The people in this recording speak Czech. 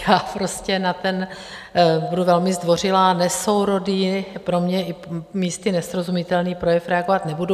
Já prostě na ten - budu velmi zdvořilá - nesourodý, pro mě i místy nesrozumitelný projev reagovat nebudu.